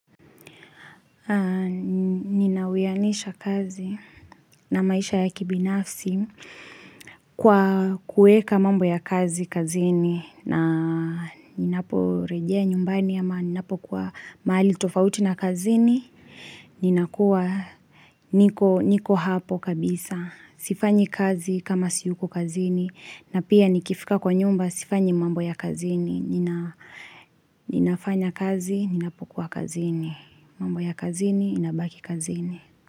Ninaweyanisha kazi na maisha ya kibinafsi kwa kueka mambo ya kazi kazini na ninapo rejea nyumbani ama ninapo kua mahali tofauti na kazini, ninakuwa niko hapo kabisa. Sifanyi kazi kama siyuko kazini na pia nikifika kwa nyumba Sifanyi mambo ya kazini nina Ninafanya kazi Ninapokua kazini mambo ya kazini inabaki kazini.